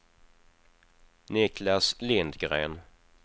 Niklas Lindgren